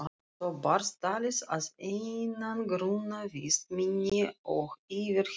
Svo barst talið að einangrunarvist minni og yfirheyrslum.